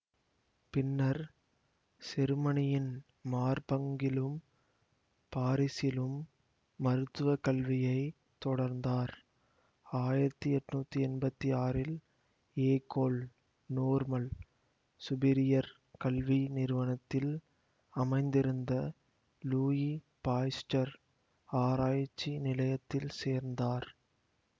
பின்னர் செருமனியின் மார்பங்கிலும் பாரிசிலும் மருத்துவ கல்வியை தொடர்ந்தார் ஆயிரத்தி எட்ணூத்தி எம்பத்தி ஆறில் ஏகோல் நோர்மல் சுபீரியர் கல்வி நிறுவனத்தில் அமைந்திருந்த லூயி பாஸ்ச்சர் ஆராய்ச்சி நிலையத்தில் சேர்ந்தார்